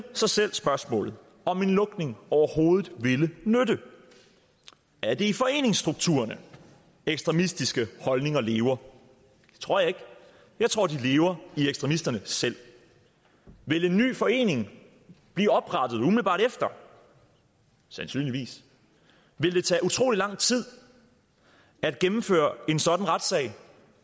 sig selv spørgsmålet om en lukning overhovedet ville nytte er det i foreningsstrukturerne at ekstremistiske holdninger lever det tror jeg ikke jeg tror de lever i ekstremisterne selv ville en ny forening blive oprettet umiddelbart efter sandsynligvis ville det tage utrolig lang tid at gennemføre en sådan retssag